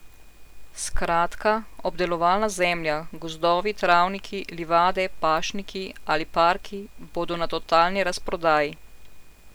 Skratka, obdelovalna zemlja, gozdovi, travniki, livade, pašniki ali parki bodo na totalni razprodaji.